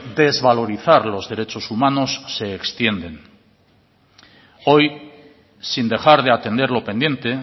desvalorizar los derechos humanos se extienden hoy sin dejar de atender lo pendiente